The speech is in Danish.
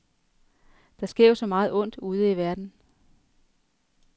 Der sker jo så meget ondt ude i verden.